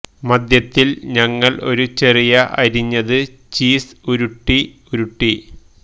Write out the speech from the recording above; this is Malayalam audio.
മധ്യത്തിൽ ഞങ്ങൾ ഒരു ചെറിയ അരിഞ്ഞത് ചീസ് ഉരുട്ടി ഉരുട്ടി